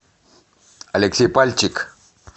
алексей пальчик